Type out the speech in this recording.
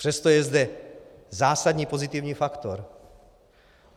Přesto je zde zásadní pozitivní faktor.